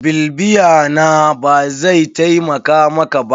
BIbiya na, bazai taimaka maka ba.